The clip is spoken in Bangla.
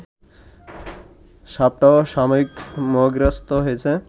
সাপটাও সাময়িক মোহগ্রস্ত হয়েছে